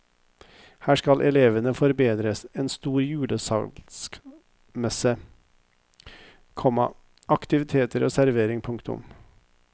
Her skal elevene forberede en stor julesalgsmesse, komma aktiviteter og servering. punktum